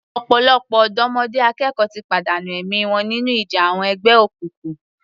Ọ̀pọ̀lọpọ̀ ọ̀dọ́mọdé akẹ́kọ̀ọ́ ti pàdánù ẹ̀mí wọn nínú ìjà àwọn ẹgbẹ́ òkùnkùn.